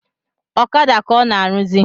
Ọkada ka ọ na-arụzị